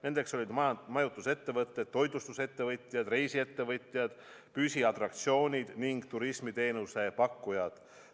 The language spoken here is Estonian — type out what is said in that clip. Nendeks olid majutusettevõtjad, toitlustusettevõtjad, reisiettevõtjad, püsiatraktsioonide ja turismiteenuse pakkujad.